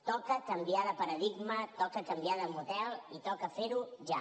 toca canviar de paradigma toca canviar de model i toca fer ho ja